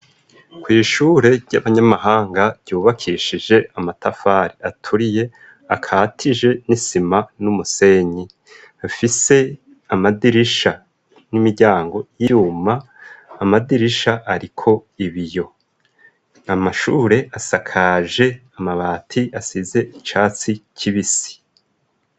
Kw'ishure ry'abanyamahanga ryubakishije amatafari aturiye akatije n'isima n'umusenyi, afise amadirisha n'imiryango y'ivyuma, amadirisha ariko ibiyo. Nya mashure asakaje amabati asize icatsi kibisi.